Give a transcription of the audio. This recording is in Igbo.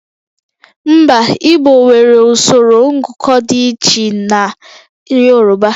Mba, Igbo nwere usoro ngụkọ dị iche na Yorùbá